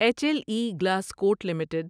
H L E glass coat limited